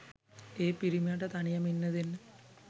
ඒ පිරිමියට තනියම ඉන්න දෙන්න